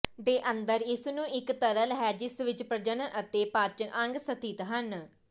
ਦੇ ਅੰਦਰ ਇਸ ਨੂੰ ਇੱਕ ਤਰਲ ਹੈ ਜਿਸ ਵਿਚ ਪ੍ਰਜਨਨ ਅਤੇ ਪਾਚਨ ਅੰਗ ਸਥਿਤ ਹਨ